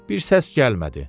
Bir səs gəlmədi.